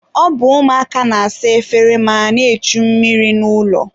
ọ bụ ụmụaka na-asa efere ma na-echu mmiri n'ụlọ.